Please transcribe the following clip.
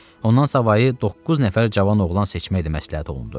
Ondan savayı doqquz nəfər cavan oğlan seçmək də məsləhət olundu.